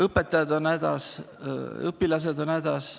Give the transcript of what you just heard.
Õpetajad on hädas, õpilased on hädas.